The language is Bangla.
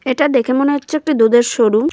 এটা দেখে মনে হচ্ছে একটা দুধের শোরুম ।